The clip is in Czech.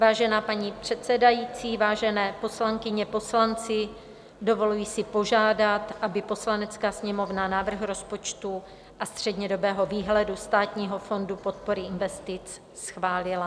Vážená paní předsedající, vážené poslankyně, poslanci, dovoluji si požádat, aby Poslanecká sněmovna návrh rozpočtu a střednědobého výhledu Státního fondu podpory investic schválila.